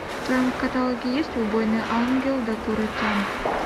в твоем каталоге есть убойный ангел докуро тян